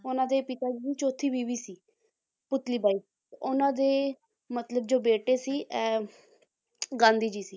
ਉਹਨਾਂ ਦੇ ਪਿਤਾ ਜੀ ਦੀ ਚੌਥੀ ਬੀਵੀ ਸੀ ਪੁਤਲੀ ਬਾਈ ਉਹਨਾਂ ਦੇ ਮਤਲਬ ਜੋ ਬੇਟੇ ਸੀ ਅਹ ਗਾਂਧੀ ਜੀ ਸੀ